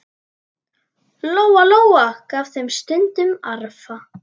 Lóa-Lóa gaf þeim stundum arfa.